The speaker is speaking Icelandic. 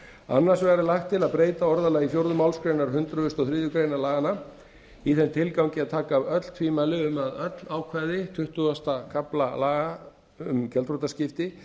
annars vegar er lagt til að breyta orðalagi fjórðu málsgrein hundrað og þriðju grein laganna í þeim tilgangi að taka af öll tvímæli um að öll ákvæði tuttugasta kafla laga um gjaldþrotaskipti